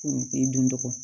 I doncogo